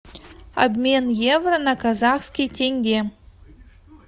обмен евро на казахский тенге